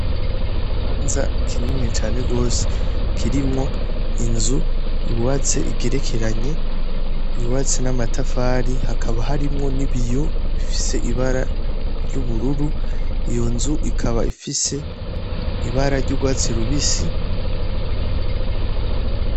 Ikibanza kinini cane rwose kirimwo inzu yubatse igerekeranye yubatse n'amatafari hakaba harimwo n'ibiyo bifise ibara ry'ubururu iyo nzu ikaba ifise ibara ry'urwatsi rubisi.